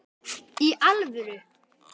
Í alvöru!?